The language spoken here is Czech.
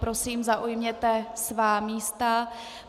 Prosím, zaujměte svá místa.